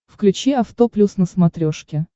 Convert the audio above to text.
включи авто плюс на смотрешке